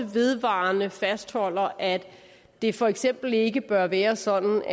vedvarende fastholder at det for eksempel ikke bør være sådan